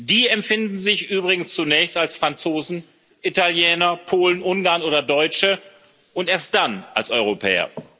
Die empfinden sich übrigens zunächst als Franzosen, Italiener, Polen, Ungarn oder Deutsche und erst dann als Europäer.